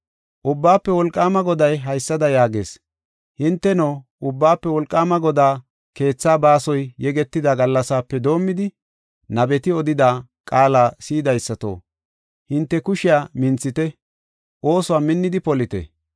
Ubbaafe Wolqaama Goday haysada yaagees: “Hinteno, Ubbaafe Wolqaama Godaa keethaa baasoy yegetida gallasaape doomidi nabeti odida qaala si7idaysato, hinte kushiya minthite; oosuwa minnidi polite.